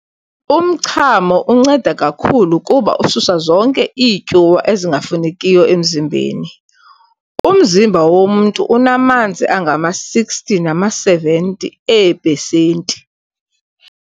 Umchamo unceda kakhulu kuba ususa zonke iityuwa ezingafunekiyo emzimbeni. umzimba womntu unamanzi angama-60 nama-70 ee-pesenti.